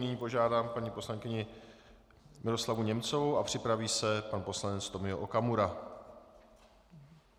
Nyní požádám paní poslankyni Miroslavu Němcovou a připraví se pan poslanec Tomio Okamura.